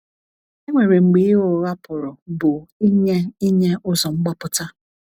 E nwere mgbe ịgha ụgha pụrụ bụ ịnye ịnye ụzo mgbapụta.